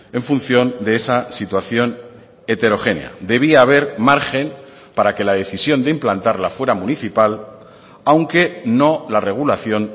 en función de esa situación heterogénea debía haber margen para que la decisión de implantarla fuera municipal aunque no la regulación